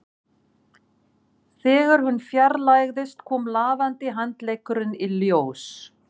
Þegar hún fjarlægðist kom lafandi handleggurinn í ljós